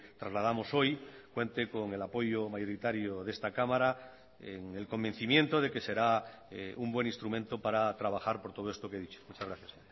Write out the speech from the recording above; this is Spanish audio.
trasladamos hoy cuente con el apoyo mayoritario de esta cámara en el convencimiento de que será un buen instrumento para trabajar por todo esto que he dicho muchas gracias